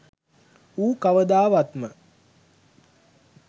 ඌ කවදාවත්ම